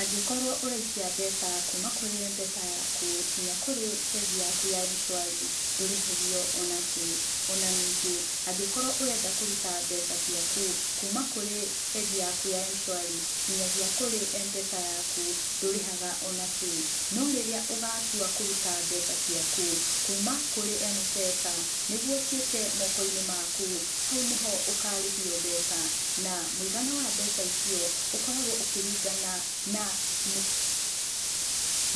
Angĩkorwo ũraikia mbeca kuma kũrĩ M-Pesa yaku nginya kũrĩ bengi yangu ya M-Shwari ndũrĩhagio ona kĩ, ona ningĩ angĩkorwo ũrenda kũruta mbeca ciaku kuma kũrĩ bengi yaku ya M-Shwari nginyagia kũrĩ M-Pesa yaku ndũrĩhaga onakĩ no rĩrĩa ũgatua kũruta mbeca ciaku kuma kũrĩ M-Pesa nĩguo ciũke moko-inĩ maku hau nĩho ũkarĩhio mbeca na mũigana wa mbeca icio ũkoragwo ũkĩringana na